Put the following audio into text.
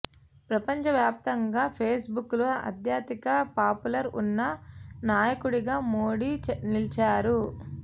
ప్రపంచవ్యాప్తంగా Facebook లో అత్యధిక పాపులర్ ఉన్న నాయకుడిగా మోడీ నిలిచారు